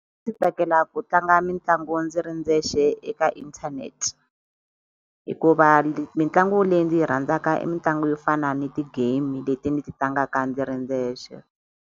Ndzi tsakela ku tlanga mitlangu ndzi ri ndzexe eka internet. Hikuva mitlangu leyi ndzi yi rhandzaka i mitlangu yo fana ni ti-game leti ndzi ti tlangaka ndzi ri ndzexe.